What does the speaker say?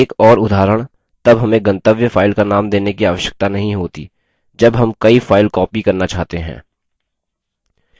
एक और उदाहरण तब हमें गंतव्य file का name देने की आवश्यकता नहीं होती जब हम कई file copy करना चाहते हैं